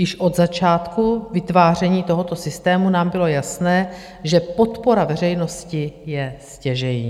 Již od začátku vytváření tohoto systému nám bylo jasné, že podpora veřejnosti je stěžejní.